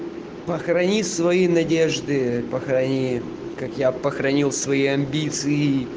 похорони свои надежды похорони как я похоронил свои амбиции